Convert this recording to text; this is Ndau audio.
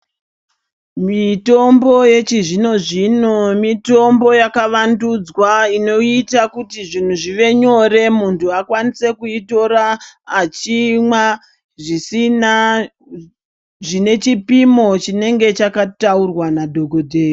Mitombo yechizvino zvino mitombo yakavandudzwa inoita kuti zvinhu zvive nyore munthu akwanise kuitora achimwa zvisina zvine chipimo chinenge chakataurwa nadhogodheya.